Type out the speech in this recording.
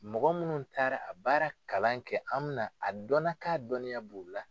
Mɔgɔ minnu taara a baara kalan kɛ an mi na a dɔnna k'a dɔnniya b' u la.